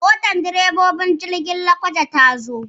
Motar direbobin jirgin saman Lokoja ta zo.